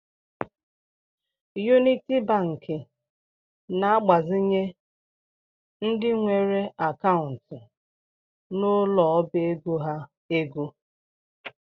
Uniti Banki na-agbazinye ndị nwere akantu n’ụlọ ọbaego ha ego